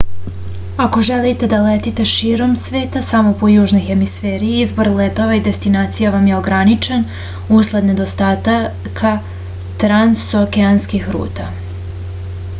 ako želite da letite širom sveta samo po južnoj hemisferi izbor letova i destinacija vam je ograničen usled nedostatka transokeanskih ruta